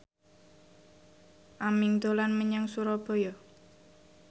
Aming dolan menyang Surabaya